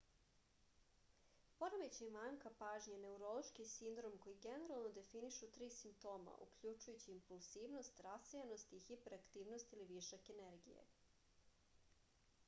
poremećaj manjka pažnje je neurološki sindrom koji generalno definišu tri simptoma uključujući impulsivnost rasejanost i hiperaktivnost ili višak energije